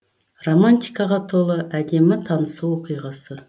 романтикаға толы әдемі танысу оқиғасы